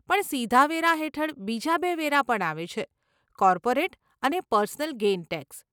પણ સીધા વેરા હેઠળ બીજા બે વેરા પણ આવે છે, કોર્પોરેટ અને પર્સનલ ગેઇન ટેક્સ.